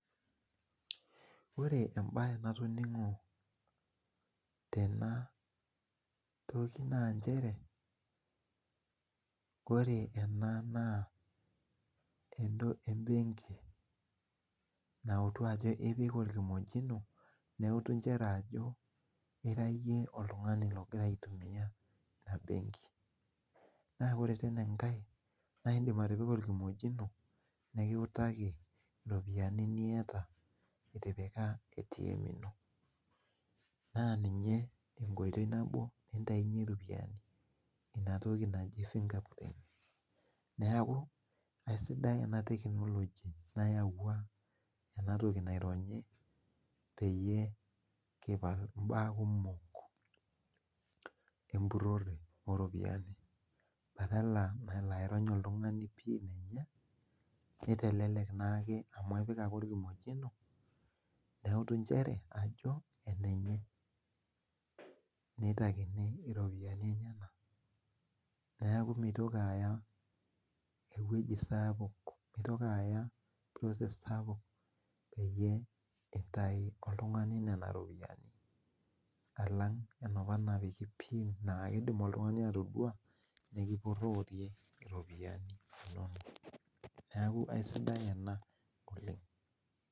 Ore embae natoningo tena toki na nchere ore ena na entoki embenki nautu ajo enewueji iyewuo neutu nchere nchere ajo irayie oltungani ogira aitumia embenki naidim atopika orkimojino nikintaki ropiyani niatae itipika na ninye enkoitoi nabo naitanyeki ropiyani tenatoki naji fingerprint neaku esidia anapik enatoki nayautia enatoki naironyi oeyie kipal mbaa kumok empurore oropiyiani akeidim oltungani aironya pin enye nitelelk ake amu epik ake orkimojino nitakini iropiyiani enyenak neaku mitoki aya ewuei sapuk peyie itau oltungani nonaropiyani alang enaapa napiki pin na kidim oltungani atadua nepuro ropiyani neaku aisidai ena oleng.